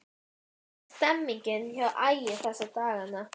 Hvernig er stemningin hjá Ægi þessa dagana?